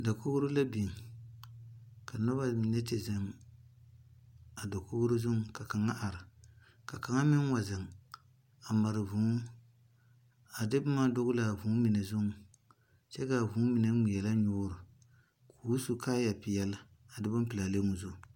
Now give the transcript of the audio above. Dakouri la beng ka nuba mene te zeng a dakouri zung ka kanga a arẽ ka kan meng wa zeng a mare vũũ a de buma dɔglaa vũũ mene zun kye ka a vũũ mene ngmeɛle nyuuri kuu su kaaya peɛle a de bunpelaa le ɔ zu.